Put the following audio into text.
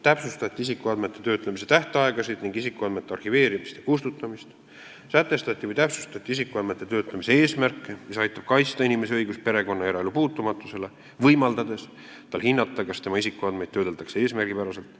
Täpsustati isikuandmete töötlemise tähtaegasid ning isikuandmete arhiveerimist ja kustutamist, sätestati või täpsustati isikuandmete töötlemise eesmärke, mis aitab kaitsta inimese õigust perekonna- ja eraelu puutumatusele, võimaldades tal hinnata, kas tema isikuandmeid töödeldakse eesmärgipäraselt.